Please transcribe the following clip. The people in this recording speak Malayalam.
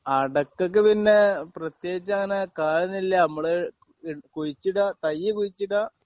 അടയ്ക്കയ്ക്ക് പിന്നെ പ്രത്യേകിച്ച് അങ്ങനെ കാലമൊന്നുമില്ല്യ നമ്മള് ഇ കുഴിച്ചിടുക തയ്യ് കുഴിച്ചിടുക